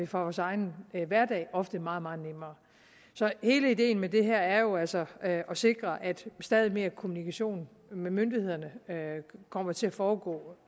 fra vores egen hverdag ofte meget meget nemmere så hele ideen med det her er jo altså at sikre at stadig mere kommunikation med myndighederne kommer til at foregå